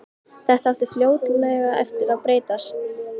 Þetta átti fljótlega eftir að breytast.